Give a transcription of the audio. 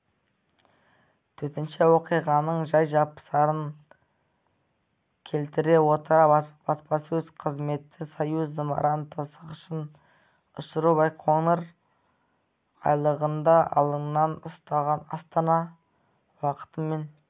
төтенше оқиғаның жай-жапсарын келтіре отыра баспасөз қызметі союз зымыран тасығышын ұшыру байқоңыр айлағында алаңнан астана уақытымен